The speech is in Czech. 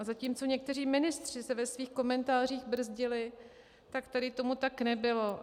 A zatímco někteří ministři se ve svých komentářích brzdili, tak tady tomu tak nebylo.